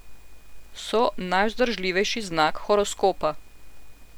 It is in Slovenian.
So najvzdržljivejši znak horoskopa.